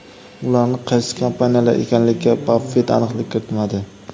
Ularning qaysi kompaniyalar ekanligiga Baffet aniqlik kiritmadi.